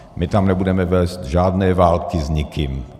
My tam nebudeme vést žádné války s nikým.